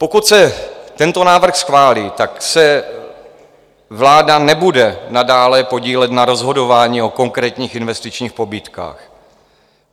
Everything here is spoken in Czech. Pokud se tento návrh schválí, tak se vláda nebude nadále podílet na rozhodování o konkrétních investičních pobídkách.